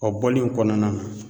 O bɔli in kɔnɔna na